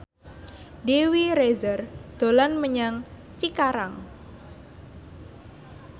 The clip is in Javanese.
Dewi Rezer dolan menyang Cikarang